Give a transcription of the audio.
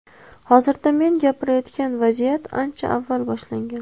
Hozirda men gapirayotgan vaziyat ancha avval boshlangan.